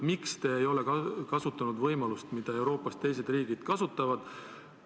Miks te ei ole kasutanud võimalust, mida Euroopas teised riigid kasutavad?